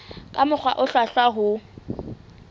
ka mokgwa o hlwahlwa ho